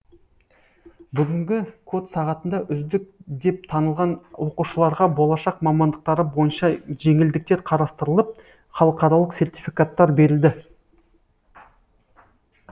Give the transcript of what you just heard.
бүгінгі код сағатында үздік деп танылған оқушыларға болашақ мамандықтары бойынша жеңілдіктер қарастырылып халықаралық сертификаттар берілді